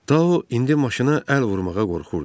Tau indi maşına əl vurmağa qorxurdu.